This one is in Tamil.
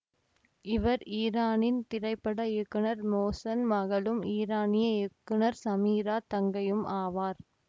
இவர் ஈரானின் திரைப்பட இயக்குனர் மோசன் மகளும் ஈரானிய இயக்குனர் சமீரா தங்கையும் ஆவார்